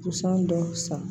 Busan dɔw san